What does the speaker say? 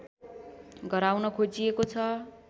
गराउन खोजिएको छ